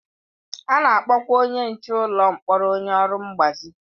A na-akpọkwa onye nche ụlọ mkpọrọ onye ọrụ mgbazi.